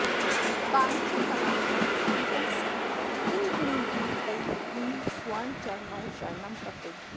काञ्ची तवाङ्गम् अभितः सह किङ्किणीभिः तैः किं सुवर्णचरणौ शरणं प्रपद्ये